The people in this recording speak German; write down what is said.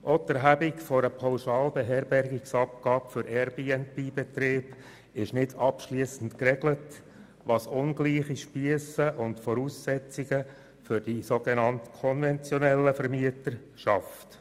Auch die Erhebung einer Pauschal-Beherbergungsabgabe für Airbnb-Betriebe ist nicht abschliessend geregelt, was ungleiche Spiesse und Voraussetzungen für die sogenannt konventionellen Vermieter schafft.